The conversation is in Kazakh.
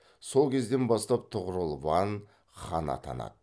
сол кезден бастап тұғырыл ван хан атанады